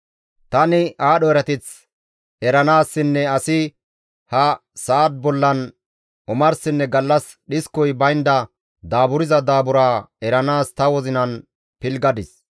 Tani aadho erateth eranaassinne asi ha sa7a bollan omarsinne gallas dhiskoy baynda daaburza daaburaa eranaas ta wozinan pilggadis.